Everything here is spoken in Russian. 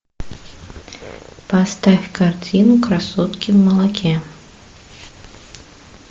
поставь картину красотки в молоке